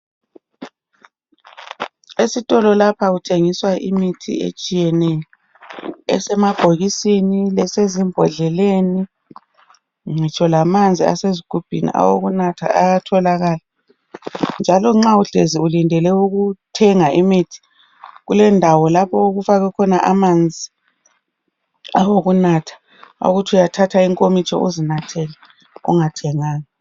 Esitolo lapha kuthengiswa imithi etshiyeneyo esemabhokisi, esezimbodleleni ngitsho lamanzi asezigubhini awokunatha ayatholakala. Nxa uhlezi ulindele ukuthenga imithi kulendawo lapho okufakwa khona amanzi awokuthi uyakwanisa ukuthatha inkomitsho uzinathele ungathenganga